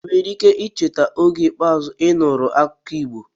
ị nwere ike icheta oge ikpeazụ ị nụrụ akụkọ Igbo?